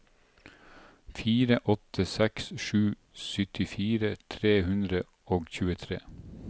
fire åtte seks sju syttifire tre hundre og tjuetre